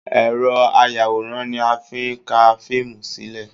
Ẹ̀rọ ayàwòrán ni a fi ń ká fíìmù sílẹ̀